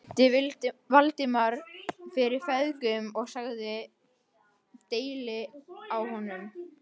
Ég kynnti Valdimar fyrir feðgunum og sagði deili á honum.